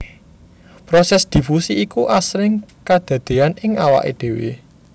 Prosès dhifusi iku asring kadadéyan ing awaké dhéwé